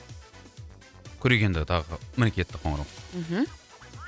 көрейік енді тағы міне кетті қоңырау мхм